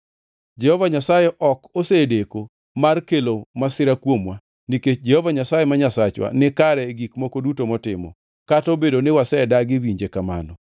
Jehova Nyasaye ok osedeko mar kelo masira kuomwa, nikech Jehova Nyasaye ma Nyasachwa nikare e gik moko duto motimo; kata obedo ni wasedagi winje kamano.